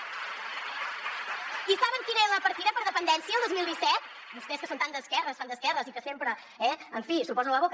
i saben quina era la partida per a dependència el dos mil disset vostès que són tan d’esquerres tan d’esquerres i que sempre eh en fi s’ho posen a la boca